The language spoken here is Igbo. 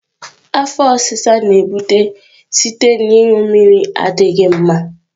Afo osisa na-ebute site na ịṅụ mmiri adịghị ọcha.